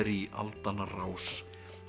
í aldanna rás